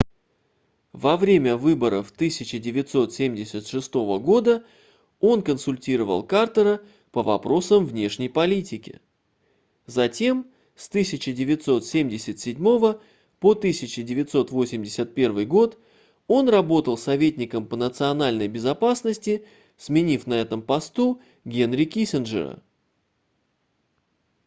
во время выборов 1976 года он консультировал картера по вопросам внешней политики затем с 1977 по 1981 год он работал советником по национальной безопасности сменив на этом посту генри киссинджера